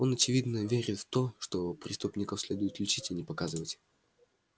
он очевидно верит в то что преступников следует лечить а не показывать